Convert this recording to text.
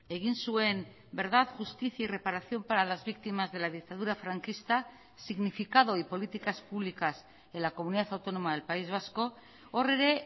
egin zuen verdad justicia y reparación para las víctimas de la dictadura franquista significado y políticas públicas en la comunidad autónoma del país vasco hor ere